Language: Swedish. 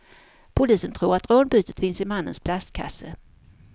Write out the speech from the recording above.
Polisen tror att rånbytet finns i mannens plastkasse.